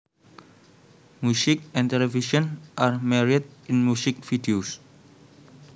Music and television are married in music videos